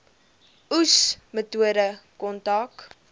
oes metode kontrak